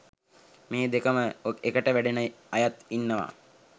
මේ දෙකම එකට වැඩෙන අයත් ඉන්නවා.